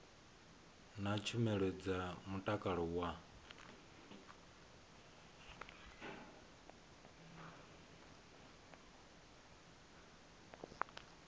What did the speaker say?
na tshumelo dza mutakalo wa